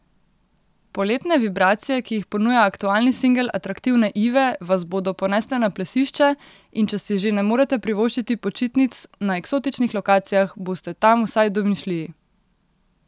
Poletne vibracije, ki jih ponuja aktualni singel atraktivne Ive, vas bodo ponesle na plesišče in če si že ne morete privoščiti počitnic na eksotičnih lokacijah, boste tam vsaj v domišljiji.